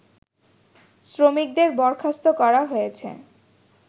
শ্রমিকদের বরখাস্ত করা হয়েছে